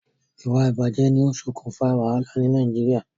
Ìwà ìbàjé ni o sokùn fa wàhálà ni Naijiria